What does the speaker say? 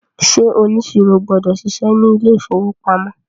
ṣe oniṣiro gbọdọ ṣiṣẹ ní ilè ìfowópamọ́?